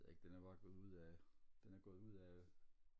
det ved jeg ikke den er bare gået ud af den er gået ud af